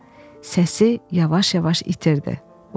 Səsi yavaş-yavaş itirdi.